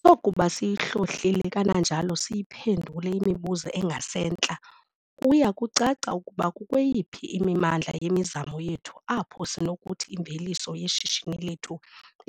Sokuba siyihlolile kananjalo siyiphendule imibuzo engasentla kuya kucaca ukuba kukweyiphi imimandla yemizamo yethu apho sinokuthi imveliso yeshishini lethu